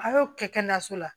A y'o kɛ kɛnɛyaso la